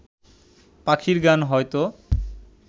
পাখির গান হয়ত